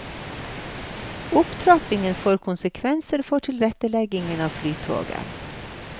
Opptrappingen får konsekvenser for tilretteleggingen av flytoget.